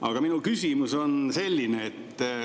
Aga minu küsimus on selline.